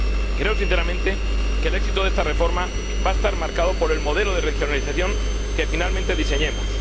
Creo sinceramente que el éxito de esta reforma va a estar marcado por el modelo de regionalización que finalmente diseñemos.